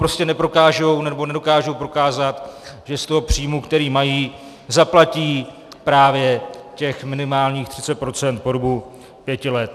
Prostě neprokážou, nebo nedokážou prokázat, že z toho příjmu, který mají, zaplatí právě těch minimálních 30 % po dobu pěti let.